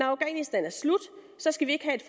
afghanistan skal vi ikke have et